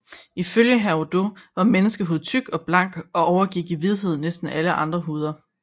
Ifølge Herodot var menneskehud tyk og blank og overgik i hvidhed næsten alle andre huder